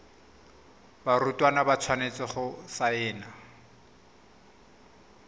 barutwana ba tshwanetse go saena